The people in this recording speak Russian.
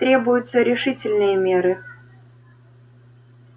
требуются решительные меры